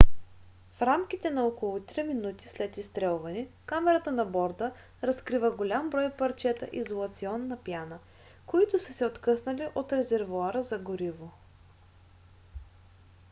в рамките на около три минути след изстрелване камерата на борда разкрива голям брой парчета изолационна пяна които са се откъснали от резервоара за гориво